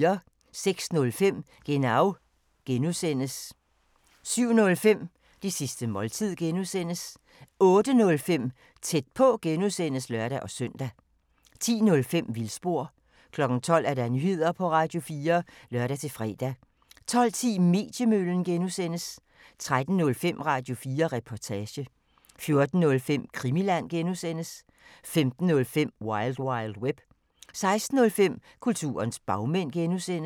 06:05: Genau (G) 07:05: Det sidste måltid (G) 08:05: Tæt på (G) (lør-søn) 10:05: Vildspor 12:00: Nyheder på Radio4 (lør-fre) 12:10: Mediemøllen (G) 13:05: Radio4 Reportage 14:05: Krimiland (G) 15:05: Wild Wild Web 16:05: Kulturens bagmænd (G)